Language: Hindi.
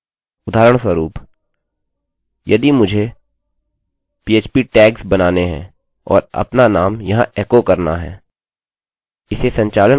उदाहरणस्वरुप यदि मुझे phpपीएचपीटैग्सtagsबनाने हैं और अपना नाम यहाँ एकोecho करना है